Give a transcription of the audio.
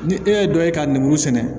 Ni e ye dɔ ye ka lemuru sɛnɛ